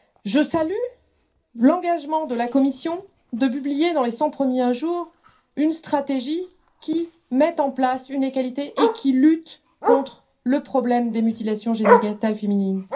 Je salue l'engagement pris par la Commission de publier, dans les cent premiers jours de son mandat, une stratégie qui met en place une égalité et qui lutte contre le problème des mutilations génitales féminines.